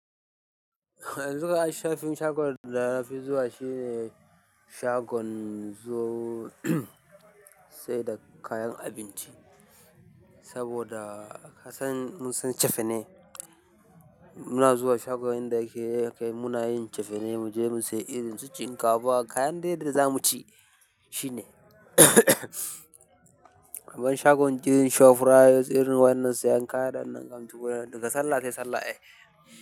Duka shafin shagon da na fi zuwa shine shagon zuwa sai da kayan abinci saboda ka san mun sun ce fane. Muna zuwa shagunan da ke kai muna yin cefene, mu je mu sai irin su shinkafa kayan dai da zamu ci shine. Abin shagon girkin shop rite, irin wannan sayan kayan ɗinnan kam to daga sallah sai sallah, ai.